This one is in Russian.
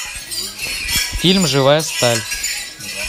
фильм живая сталь